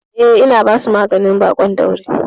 Eh, ina basu maganin baƙon daurin.